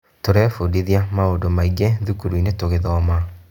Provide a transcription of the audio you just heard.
Tũrebunditia maũndũ maingĩ thukuru-inĩ tũgithoma.